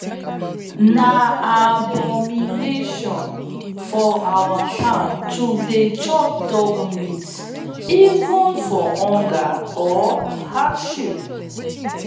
na abomination for our town to dey chop dog even for hunger or hardship.